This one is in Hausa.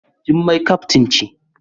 Jummai kaftin ce.